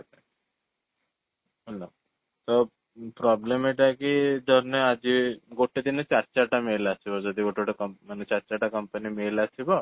hello, ତ problem ଏଟା କି ଧରି ନେ ଆଜି ଗୋଟେ ଦିନ ରେ ଚାରି ଚାରିଟା mail ଆସିବ ଯଦି ଗୋଟେ ଗୋଟେ ମାନେ ଚାରି ଚାରିଟା company mail ଆସିବ